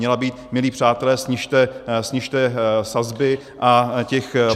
... měla být: milí přátelé, snižte sazby a těch...